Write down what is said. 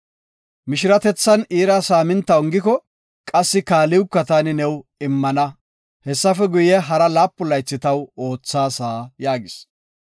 Mishiratethan iira saaminta ongiko, qassi kaaliwka taani new immana. Hessafe guye, hara laapun laythi taw oothaasa” yaagis.